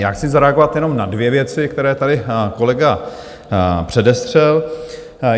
Já chci zareagovat jenom na dvě věci, které tady kolega předestřel.